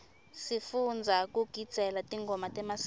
sifundza kugidzela tingoma temasiko